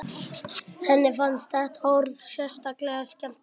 Henni fannst þetta orð sérstaklega skemmtilegt.